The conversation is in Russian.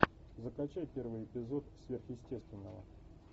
закачай первый эпизод сверхъестественного